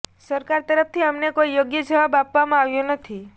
સરકાર તરફથી અમને કોઈ યોગ્ય જવાબ આપવામાં આવ્યો નથી